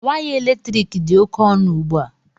Waya eletrik dị oke ọnụ ugbu a